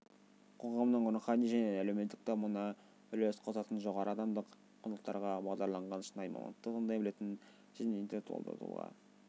қоғамның рухани және әлеуметтік дамуына үлес қосатын жоғары адамдық құндылықтарға бағдарланған шынайы мамандықты таңдай білетін және интеллектуалды тұлғаны